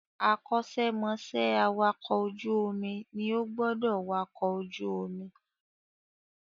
Akọ́ṣẹ́ mọṣẹ́ awàkọ̀ ojú omi ní ó gbọ́dọ̀ wakọ̀ ojú omi